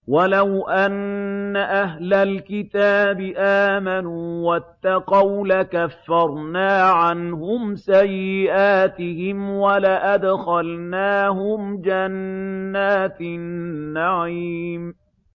وَلَوْ أَنَّ أَهْلَ الْكِتَابِ آمَنُوا وَاتَّقَوْا لَكَفَّرْنَا عَنْهُمْ سَيِّئَاتِهِمْ وَلَأَدْخَلْنَاهُمْ جَنَّاتِ النَّعِيمِ